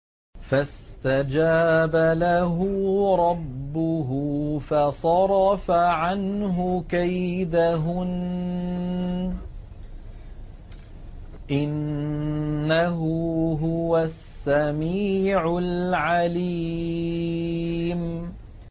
فَاسْتَجَابَ لَهُ رَبُّهُ فَصَرَفَ عَنْهُ كَيْدَهُنَّ ۚ إِنَّهُ هُوَ السَّمِيعُ الْعَلِيمُ